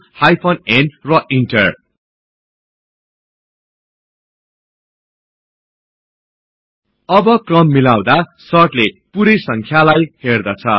hyphen n र इन्टर अब क्रम मिलाउदा सर्टले पुरै संख्यालाई हेर्दछ